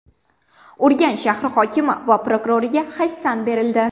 Urganch shahri hokimi va prokuroriga hayfsan berildi.